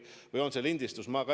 Või on see lindistus?